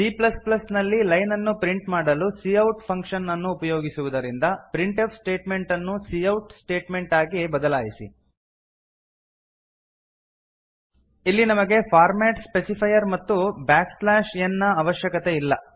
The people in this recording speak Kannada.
ಸಿ ಪ್ಲಸ್ ಪ್ಲಸ್ ನಲ್ಲಿ ಲೈನ್ ಅನ್ನು ಪ್ರಿಂಟ್ ಮಾಡಲು ಸಿಔಟ್ ಫಂಕ್ಷನ್ ಅನ್ನು ಉಪಯೋಗಿಸುವುದರಿಂದ ಪ್ರಿಂಟ್ಫ್ ಸ್ಟೇಟ್ಮೆಂಟ್ ಅನ್ನು ಸಿಔಟ್ ಸ್ಟೇಟ್ಮೆಂಟ್ ಆಗಿ ಬದಲಾಯಿಸಿ ಇಲ್ಲಿ ನಮಗೆ ಫಾರ್ಮಾಟ್ ಸ್ಪೆಸಿಫೈರ್ ಮತ್ತು ಬ್ಯಾಕ್ ಸ್ಲ್ಯಾಶ್ ಎನ್ ನ ಅವಶ್ಯಕತೆ ಇಲ್ಲ